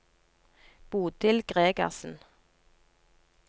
Bodil Gregersen